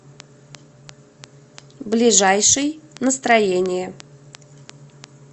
ближайший настроение